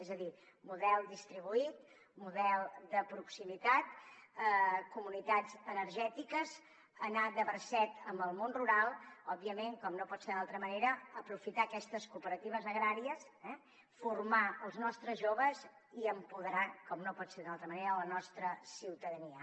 és a dir model distribuït model de proximitat comunitats energètiques anar de bracet amb el món rural òbviament com no pot ser d’altra manera aprofitar aquestes cooperatives agràries formar els nostres joves i empoderar com no pot ser d’altra manera la nostra ciutadania